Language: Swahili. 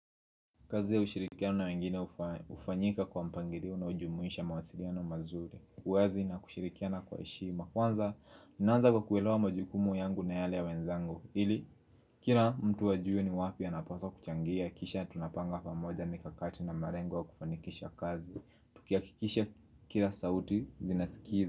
Kazi ya kushirikiana wengine hufanyika kwa mpangilio unaojumuisha mawasiliano mazuri, uwazi na kushirikiana kwa heshima. Kwanza, ninaanza kwa kuelewa majukumu yangu na yale ya wenzangu ili, kila mtu ajue ni wapi anapaswa kuchangia Kisha tunapanga pamoja mikakati na malengo ya kufanikisha kazi tukihakikisha kila sauti, zinasikiza.